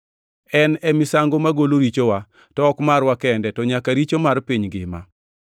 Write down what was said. En e misango magolo richowa, to ok marwa kende, to nyaka richo mar piny ngima.